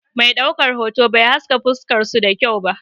Mai ɗaukar hoto bai haska fuskar su da kyau ba.